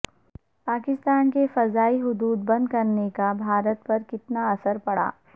پاکستان کے فضائی حدود بندکرنے کا بھارت پرکتنا اثر پڑا